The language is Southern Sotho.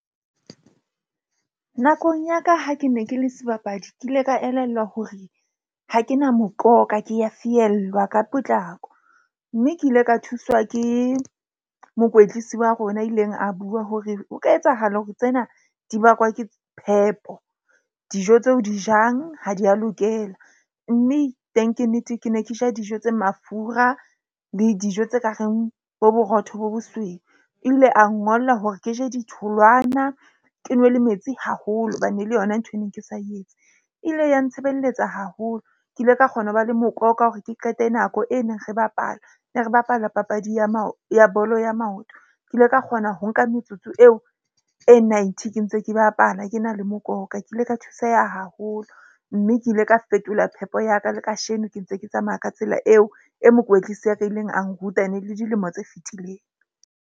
Nakong ya ka ha ke ne ke le sebapadi. Ke ile ka elellwa hore ha ke na mokoka ke a fiellwa ka potlako. Mme ke ile ka thuswa ke mokwetlisi wa rona a ileng a bua hore ho ka etsahala hore tsena di bakwa ke phepo, dijo tseo o di jang ha di a lokela, mme teng ke nnete, ke ne ke ja dijo tse mafura le dijo tse ka reng bo borotho bo bosweu. Ebile a ngolla hore ke je ditholwana, ke nwe le metsi haholo hobane le yona nthwe ne ke sa etse ile ya ntshebeletsa haholo. Ke ile ka kgona ho ba le mokoka hore ke qete nako e neng re bapalwa ne re bapala papadi ya ya bolo ya maoto. Ke ile ka kgona ho nka metsotso eo e ninety ke ntse ke bapala. Ke na le mokoka, ke ile ka thuseha haholo, mme ke ile ka fetola phepo ya ka le kasheno ke ntse ke tsamaya ka tsela eo, e mokwetlisi wa ka a ileng a nruta ene e le dilemo tse fitileng.